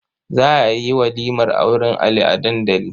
Za a yi walimar auren Ali a dandali.